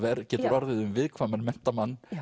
getur orðið um viðkvæman